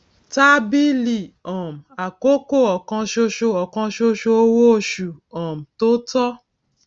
tábìlì um àkókò òkansoso òkansoso owó oṣù um tó tọ